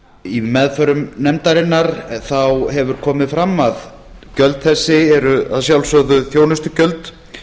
í meðförum nefndarinnar hefur komið fram að gjöld þessi eru að sjálfsögðu þjónustugjöld